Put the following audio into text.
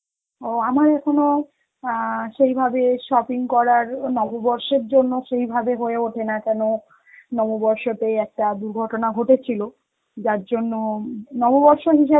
ও আমার এখনো অ্যাঁ সেইভাবে shopping করার নববর্ষের জন্য, কিভাবে হয়ে ওঠেনা কেনো নববর্ষ তে একটা দুর্ঘটনা ঘটেছিল, যার জন্য উম নববর্ষ হিসাবে